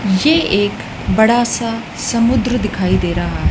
मुझे एक बड़ा सा समुद्र दिखाई दे रहा है।